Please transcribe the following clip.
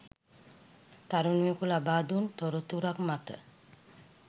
තරුණයකු ලබා දුන් තොරතුරක් මත